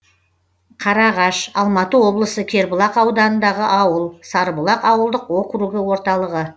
қараағаш алматы облысы кербұлақ ауданындағы ауыл сарыбұлақ ауылдық округі орталығы